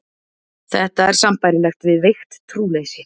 Þetta er sambærilegt við veikt trúleysi.